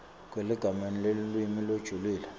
kweligalelo lelulwimi lolujulile